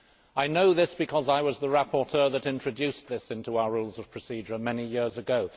I know this because I was the rapporteur that introduced this into our Rules of Procedure many years ago.